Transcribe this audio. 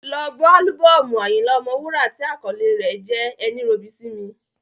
Lọ ọ gbọ́ álúbọ́ọ̀mù Ayinla Omowura tí àkọlé rẹ̀ jẹ́ “ ẹní robi sími”.